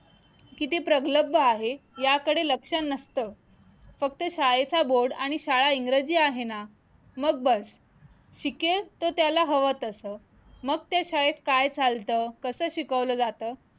किती प्रबलब्ध आहे याकडे लक्ष नसतं फक्त शाळेचा board आणि शाळा इंग्रजी आहे ना मग बस शिकेल तर त्याला हवं तसं मग ते शाळेत काय चालतं कसं शिकवलं जातं